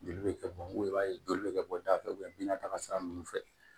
Joli bɛ kɛ bɔn i b'a ye joli bɛ kɛ bɔda fɛ binata sira ninnu fɛ